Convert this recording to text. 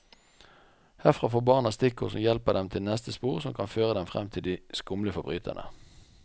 Herfra får barna stikkord som hjelper dem til neste spor som kan føre dem frem til de skumle forbryterne.